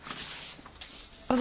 Panie Przewodniczący!